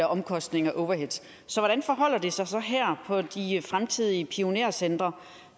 omkostninger overhead så hvordan forholder det sig så her på de fremtidige pionercentre